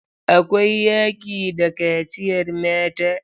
Akwai yaƙi da kaciyar mata.